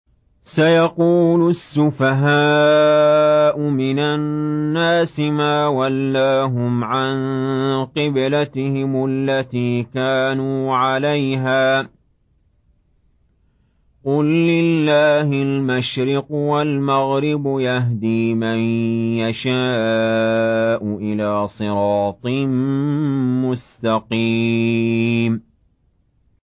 ۞ سَيَقُولُ السُّفَهَاءُ مِنَ النَّاسِ مَا وَلَّاهُمْ عَن قِبْلَتِهِمُ الَّتِي كَانُوا عَلَيْهَا ۚ قُل لِّلَّهِ الْمَشْرِقُ وَالْمَغْرِبُ ۚ يَهْدِي مَن يَشَاءُ إِلَىٰ صِرَاطٍ مُّسْتَقِيمٍ